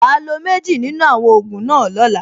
Wàá lo méjì nínú àwọn ògùn náà lọ́la.